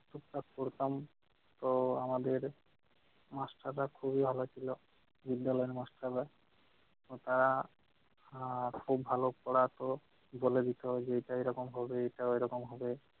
এসব করতাম তো আমাদের master রা খুবই ভাল ছিল বিদ্যালয়ের master রা। তারা আহ খুব ভালো পড়াতো বলে দিত যে এটা এই রকম হবে এটা ওইরকম হবে